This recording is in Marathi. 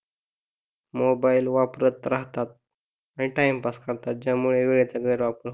मोबाइलला वापरत राहतात आणि टाइमपास करतात ज्यामुळे वेळेचा गैर वापर